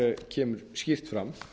kemur skýrt fram